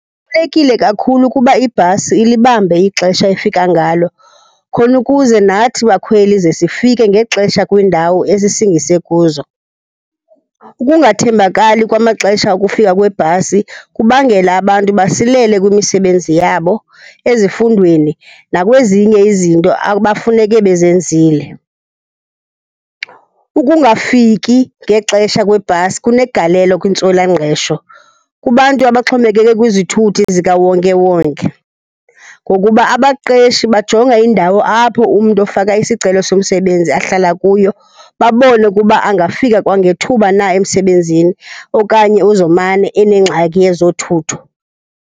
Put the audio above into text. kakhulu ukuba ibhasi ilibambe ixesha efika ngalo khona ukuze nathi bakhweli ze sifike ngexesha kwiindawo esisingise kuzo. Ukungathembakali kwamaxesha okufika kwebhasi kubangela abantu basilele kwimisebenzi yabo, ezifundweni, nakwezinye izinto bafuneke bezenzile. Ukungafiki ngexesha kwebhasi kunegalelo kwintswelangqesho kubantu abaxhomekeke kwizithuthi zikawonkewonke, ngokuba abaqeshi bajonga indawo apho umntu ofaka isicelo somsebenzi ahlala kuyo, babone ukuba angafika kwangethuba na emsebenzini okanye uzomane enengxaki yezothutho.